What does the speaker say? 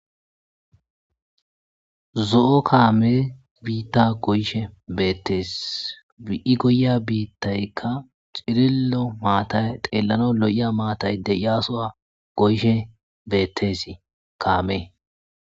zo7o kaame biitta goyshe beettees bi7i goya biittaykka cirillo maatay xeellano lo7iya maatay de yaasoa goyshe bettesi kaame